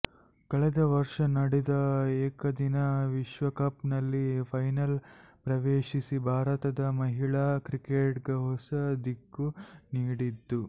ಕಳೆದ ವರ್ಷ ನಡೆದ ಏಕದಿನ ವಿಶ್ವಕಪ್ನಲ್ಲಿ ಫೈನಲ್ ಪ್ರವೇಶಿಸಿ ಭಾರತದ ಮಹಿಳಾ ಕ್ರಿಕೆಟ್ಗೆ ಹೊಸ ದಿಕ್ಕು ನೀಡಿತ್ತು